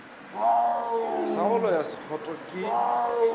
sa go loya sekgotho ke